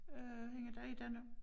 Øh hende der er der nu